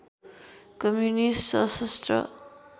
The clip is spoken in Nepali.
कम्युनिस्ट सशस्त्र